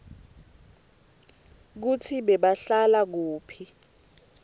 kutsi bebahlala kuphi